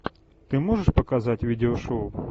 ты можешь показать видео шоу